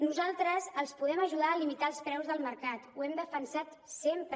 nosaltres els podem ajudar a limitar els preus del mercat ho hem defensat sempre